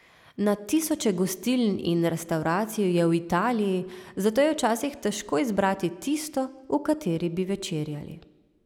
Na tisoče gostiln in restavracij je v Italiji, zato je včasih težko izbrati tisto, v kateri bi večerjali.